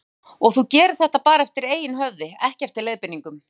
Birta: Og þú gerir þetta bara eftir eigin höfði, ekki eftir leiðbeiningum?